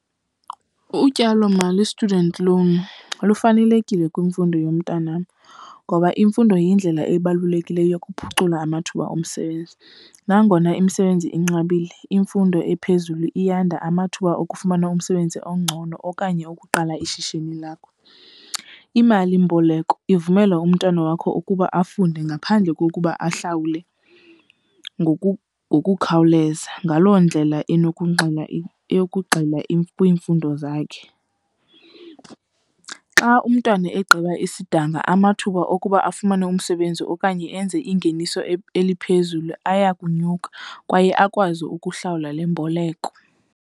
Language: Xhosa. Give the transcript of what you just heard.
Utyalomali, i-student loan, lufanelekile kwimfundo yomntanam ngoba imfundo yindlela ebalulekileyo yokuphucula amathuba omsebenzi. Nangona imisebenzi inqabile, imfundo ephezulu iyanda amathuba okufumana umsebenzi ongcono okanye ukuqala ishishini lakho. Imalimboleko ivumela umntwana wakho ukuba afunde ngaphandle kokuba ahlawule ngoku ngokukhawuleza, ngaloo ndlela inokunxila eyokugxila kwiimfundo zakhe. Xa umntwana egqiba isidanga amathuba okuba afumane umsebenzi okanye enze ingeniso eliphezulu aya kunyuka kwaye akwazi ukuhlawula le mboleko.